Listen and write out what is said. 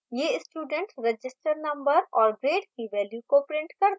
यह student register number और grade की values को prints करता है